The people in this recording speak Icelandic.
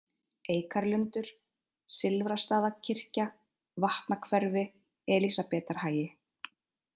Eikarlundur, Silfrastaðakirkja, Vatnahverfi, Elísabetarhagi